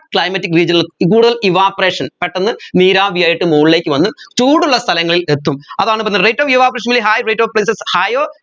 climatic region ൽ ഈ കൂടുതൽ evaporation പെട്ടെന്നു നീരാവിയായിട്ട് മുകളിലേക്ക് വന്നു ചൂടുള്ള സ്ഥലങ്ങളിൽ എത്തും അതാണ് പറയുന്നത് rate of evaporation in high range of place is higher